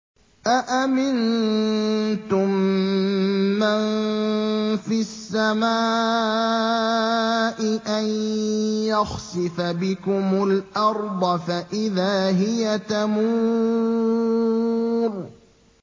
أَأَمِنتُم مَّن فِي السَّمَاءِ أَن يَخْسِفَ بِكُمُ الْأَرْضَ فَإِذَا هِيَ تَمُورُ